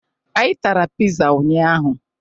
Anyị tara pịza ụnyaahụ.